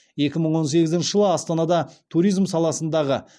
екі мың он сегізінші жылы астанада туризм саласындағы